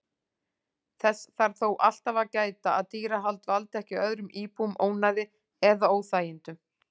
Þess þarf þó alltaf að gæta að dýrahald valdi ekki öðrum íbúum ónæði eða óþægindum.